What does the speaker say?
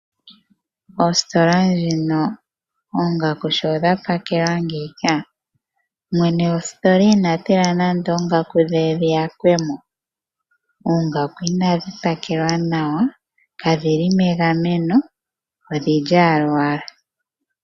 Ositola dhino sho dha pakelwa ngeyi mwene gwositola inatila nande dhiyakwemo oongaku unadhi pakelwa nawa kadhili megameno odhili owala ngaaka.